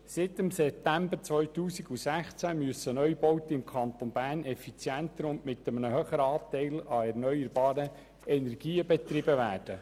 Seit September 2016 müssen Neubauten im Kanton Bern effizienter und mit einem höheren Anteil an erneuerbaren Energien betrieben werden.